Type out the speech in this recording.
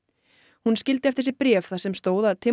hún skildi eftir sig bréf þar sem stóð að